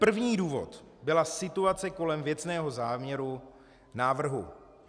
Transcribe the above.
První důvod byla situace kolem věcného záměru návrhu.